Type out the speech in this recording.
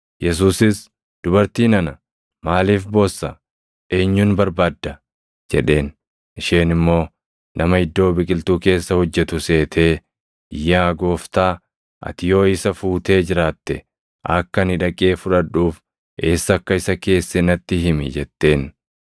Yesuusis, “Dubartii nana, maaliif boossa? Eenyun barbaadda?” jedheen. Isheen immoo, nama iddoo biqiltuu keessa hojjetu seetee, “Yaa gooftaa, ati yoo isa fuutee jiraatte, akka ani dhaqee fudhadhuuf eessa akka isa keesse natti himi” jetteen.